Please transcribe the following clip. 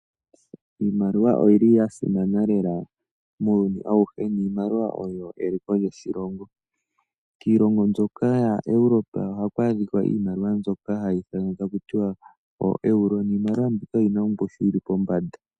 Iimaliwa oyili ya simana lela muuyuni awuhe niimaliwa oyo eliko lyoshilongo. Kiilongo mbyoka ya Europa ohaku adhika iimaliwa mbyono hayi ithanwa takutiwa oo Euro niimaliwa mbika oyina ongushu yili pombanda